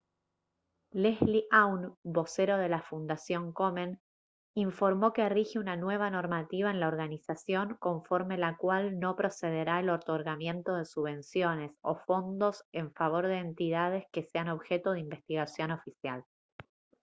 leslie aun vocero de la fundación komen informó que rige una nueva normativa en la organización conforme la cual no procederá el otorgamiento de subvenciones o fondos en favor de entidades que sean objeto de investigación oficial